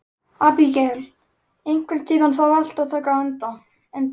Abigael, einhvern tímann þarf allt að taka enda.